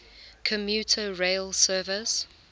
commuter rail service